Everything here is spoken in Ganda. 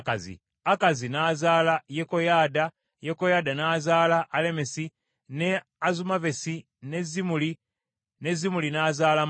Akazi n’azaala Yekoyaada, Yekoyaada n’azaala Alemesi, ne Azumavesi, ne Zimuli, ne Zimuli n’azaala Moza.